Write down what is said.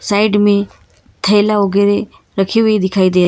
side में थैला वगैरह रखा हुआ दिखाई दे--